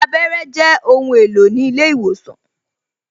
Abẹ́rẹ́ Jẹ ohun èlò ní ilé ìwòsàn